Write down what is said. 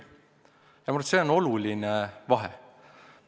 Ja ma arvan, et see on oluline vahe.